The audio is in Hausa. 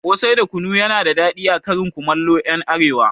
Ƙosai da kunu yana da daɗi a karin komallon ƴan arewa